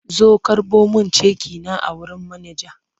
Zo karɓo min ceki na a wurin manaja!